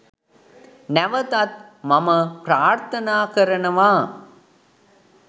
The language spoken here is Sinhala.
නැවතත් මම ප්‍රාර්ථනා කරනවා